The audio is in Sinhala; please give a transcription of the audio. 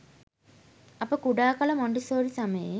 අප කුඩා කල මොන්ටිසෝරි සමයේ